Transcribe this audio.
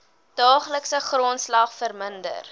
daaglikse grondslag verminder